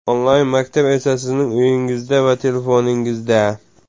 Onlayn-maktab esa sizning uyingizda va telefoningizda !!!